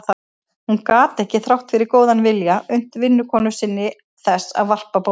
Hún gat ekki, þrátt fyrir góðan vilja, unnt vinnukonu sinni þess að varpa bombunni.